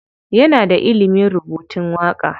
Yana da ilimin rubutun waƙa.